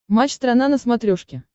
матч страна на смотрешке